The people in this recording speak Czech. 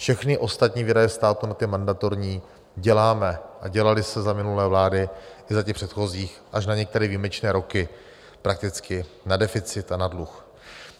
Všechny ostatní výdaje státu nad ty mandatorní děláme, a dělaly se za minulé vlády i za těch předchozích až na některé výjimečné roky, prakticky na deficit a na dluh.